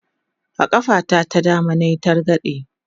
a ƙafa ta ta dama nayi targade